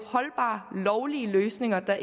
holdbare lovlige løsninger der